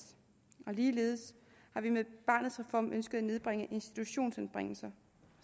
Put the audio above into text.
ligeledes har vi med barnets reform ønsket at nedbringe institutionsanbringelser